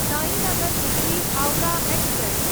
Sainagar Shirdi Howrah express